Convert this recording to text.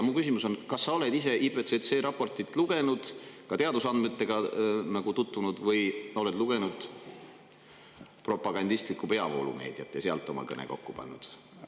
Mu küsimus on, kas sa oled ise IPCC raportit lugenud ja ka teadusandmetega tutvunud või oled lugenud propagandistlikku peavoolumeediat ja selle põhjal oma kõne kokku pannud?